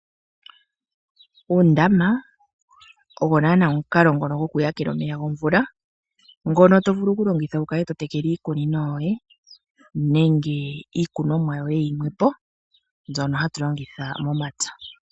Uundama owo naana omukalo ngono gwo ku yakela omeya, ngono to vulu oku longitha wu kale to tekele iikunino yoye, nenge iikunomwa yoye yimwe po, mbyono hatu longitha momapya.